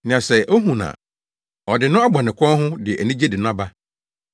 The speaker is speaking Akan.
Na sɛ ohu no a, ɔde no abɔ ne kɔn ho, de anigye de no aba.